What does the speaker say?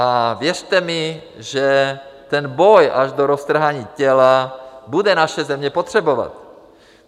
A věřte mi, že ten boj až do roztrhání těla bude naše země potřebovat.